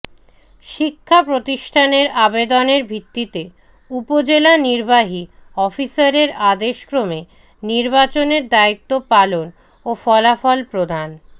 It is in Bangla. শিক্ষা প্রতিষ্ঠানের আবেদনের ভিত্তিতে উপজেলা নিবার্হি অফিসারের আদেশক্রমে নিবার্চনের দায়িত্ব পালন ও ফলাফল প্রদান